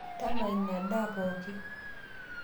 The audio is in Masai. Tama inia daa pooki